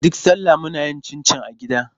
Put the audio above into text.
Duk salla muna yin cincin a gida.